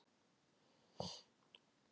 Heiðar Geir Júlíusson með boltann.